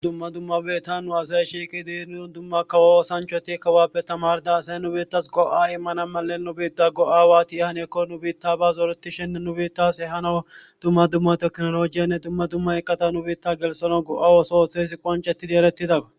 dumma dummabe ta nu azay shiiki dienuon dumma kawo osanchoti kawappe tamarda asaye nu biittas go7a immana male nubiitda go7aawati yahaneekko nubiitta ba zooreti shenne nubiittas he hano dumma dumma teknolojiyenne dumma dumma eqqata nubiitta gelsano go7aawosohothe ezi qoncetidi erettidaga